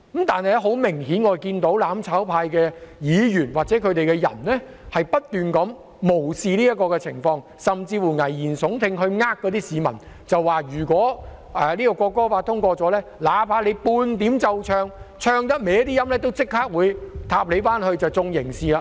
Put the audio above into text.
但很明顯，我們看到"攬炒派"的議員或人士，不斷無視這個情況，甚至危言聳聽，欺騙市民說如果《條例草案》通過後，哪怕在奏唱國歌時有少許走音，亦會立即被刑事檢控。